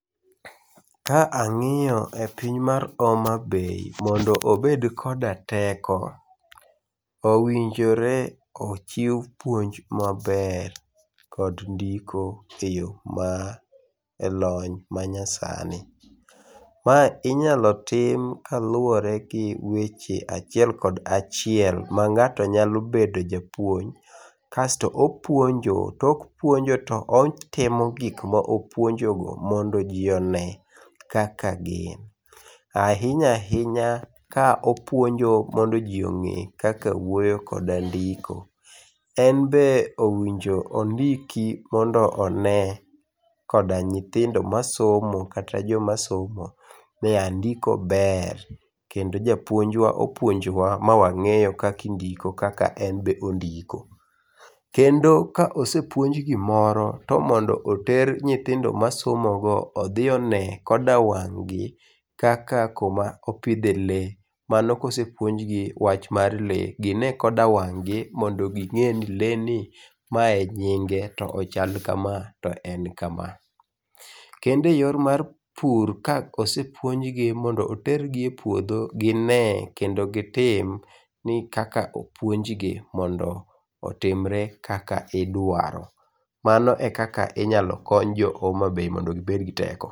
Ka ang'iyo e piny mar Homa Bay, mondo obed koda teko, owinjore ochiw puonj maber kod ndiko e yo ma elony manyasani. Ma inyalo tim kaluwore kod weche achiel kod achiel ma ng'ato nyalo bedo japuonj. Kasto opuonjo, tok puonjo to otimo gik ma opuonjogo mondoji one kaka gin. Ahinya ahinya kopuonjo mondo ji ong'e kaka wuoyo koda ndiko. En bende owinjo ondiki mondo one koda nyithindo masomo kata joma somo ni a ndiko ber kendo japuojwa opuonjwa ma wang'eyo kakindiko en be ondiko. Kendo ka osepuonj gimoro tomondo oter nyithindo masomogo odhi one koda wang' gi kaka koma opidhe lee. Mano kose puonjgi wach mar lee, gine koda wang'gi mondo ging'e ni lee ni, mae e nyinge,t o ochal kama to en kama. Kendo eyo mar pur ka, osepuonjgi mondo otergi e puodho gine kendo gitim ni kaka ni kaka opuonjgi mondo otimre kaka idwaro. Mano ekaka inyalo kony jo Homa Bay mondo ngibed gi teko.